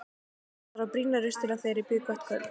Ég þarf að brýna raustina þegar ég býð gott kvöld.